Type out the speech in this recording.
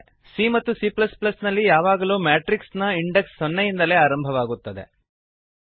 c ಮತ್ತು c ನಲ್ಲಿ ಯಾವಾಗಲೂ ಮ್ಯಾಟ್ರಿಕ್ಸ್ ನ ಇಂಡೆಕ್ಸ್ ಸೊನ್ನೆಯಿಂದಲೇ ಆರಂಭವಾಗುತ್ತದೆ